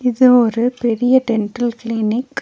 இது ஒரு பெரிய டென்டல் கிளினிக் .